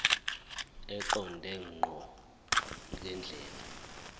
eqonde ngqo ngendlela